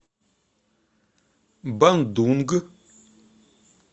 бандунг